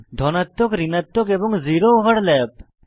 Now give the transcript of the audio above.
ধনাত্মক ঋণাত্মক এবং জিরো ওভারল্যাপ